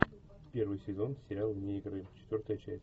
первый сезон сериал вне игры четвертая часть